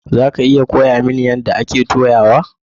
Za ki iya koya mani yadda ake toyawa?